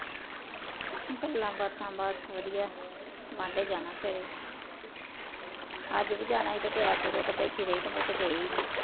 ਗੱਲਾਂ ਬਾਤਾਂ ਬਸ ਵਧੀਆ, ਬਾਂਡੇ ਜਾਣਾ ਸਵੇਰੇ ਅੱਜ ਵੀ ਜਾਣਾ ਸੀ ਤੇ ਤਿਆਰ ਤੁਆਰ ਹੋਕੇ ਬੈਠੀ ਰਹੀ ਤੇ ਮੁੜਕੇ ਗਏ ਈ ਨੀ